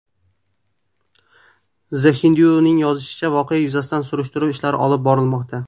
The Hindu’ning yozishicha , voqea yuzasidan surishtiruv ishlari olib borilmoqda.